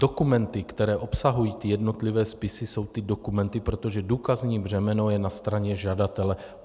Dokumenty, které obsahují jednotlivé spisy, jsou ty dokumenty, protože důkazní břemeno je na straně žadatele.